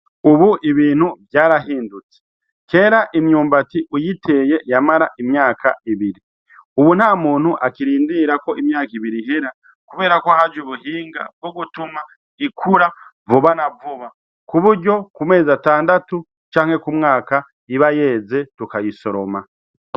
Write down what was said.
Ubu ibintu vyarahindutse kera imyumbati uyiteye yamara imyaka ibiri, ubu nta muntu akirindirira ko imyaka ibiri ihera, kubera ko haje ubuhinga bwo gutuma ikura vuba na vuba ku buryo ku mezi atandatu canke ku mwaka ibayeze tukayisoroma.